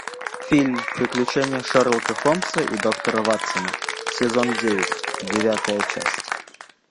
фильм приключения шерлока холмса и доктора ватсона сезон девять девятая часть